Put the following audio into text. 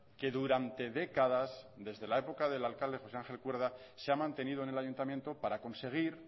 que durante décadas desde la época del alcalde josé ángel cuerda se ha mantenido en el ayuntamiento para conseguir